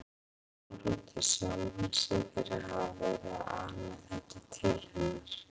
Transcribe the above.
Sár út í sjálfan sig fyrir að hafa verið að ana þetta til hennar.